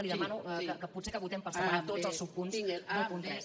li demano que potser que votem per separat tots els subpunts del punt tres